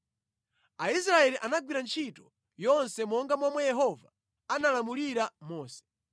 Aisraeli anagwira ntchito yonse monga momwe Yehova analamulira Mose.